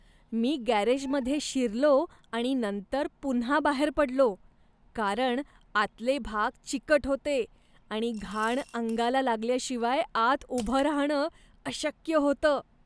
मी गॅरेजमध्ये शिरलो आणि नंतर पुन्हा बाहेर पडलो, कारण आतले भाग चिकट होते आणि घाण अंगाला लागल्याशिवाय आत उभं राहणं अशक्य होतं.